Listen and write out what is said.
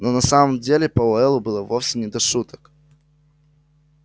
но на самом деле пауэллу было вовсе не до шуток